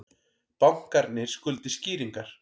Bankarnir skuldi skýringar